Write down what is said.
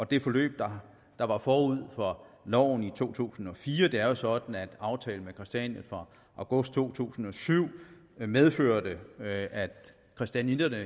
det forløb der var forud for loven i to tusind og fire det er jo sådan at aftalen med christiania fra august to tusind og syv medførte at at christianitterne